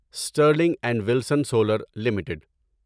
Stirling and Wilson solar limited